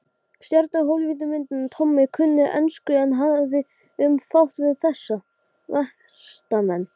Ég gat ekki afborið að sjá farið svona með hann.